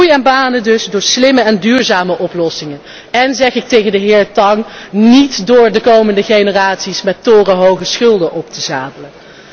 Groei en banen dus door slimme en duurzame oplossingen, en zeg ik tegen de heer Tang niet door de komende generaties met torenhoge schulden op te zadelen.